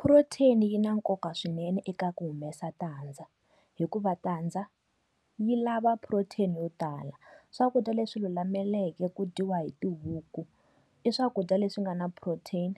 Protein yi na nkoka swinene eka ku humesa tandza hikuva tadza yi lava protein yo tala. Swakudya leswi lulameke ku dyiwa hi tihuku, i swakudya leswi nga na protein.